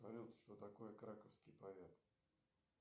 салют что такое краковский повет